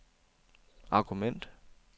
argument